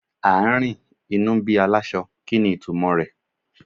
À ń rìn, inú bí aláṣọ, kí ni ìtumò rẹ̀?